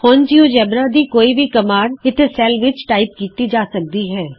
ਹੁਣ ਜਿਉਜੇਬਰਾ ਦੀ ਕੋਈ ਵੀ ਕਮਾਂਡ ਇਥੇ ਸੈਲ ਵਿਚ ਟਾਈਪ ਕੀਤੀ ਜਾ ਸਕਦੀ ਹੇ